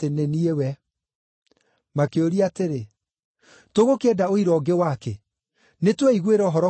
Makĩũria atĩrĩ, “Tũgũkĩenda ũira ũngĩ wakĩ? Nĩtweiguĩra ũhoro kuuma kanua gake mwene.”